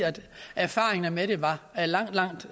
erfaringerne med det var langt langt